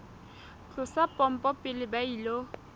tlosa pompo pele ba ilo